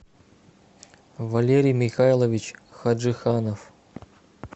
валерий михайлович хаджиханов